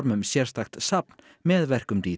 um sérstakt safn með verkum